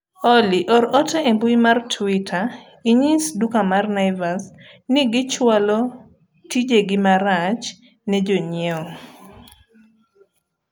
Olly or ote e mbui mar twita inyis duka mar naivas ni gichwalo tijegi marach ne jonyiewo